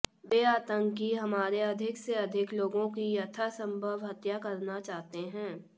वे आतंकी हमारे अधिक से अधिक लोगों की यथासंभव हत्या करना चाहते हैं